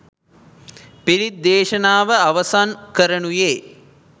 පිරිත් දේශනාව අවසන් කරනුයේ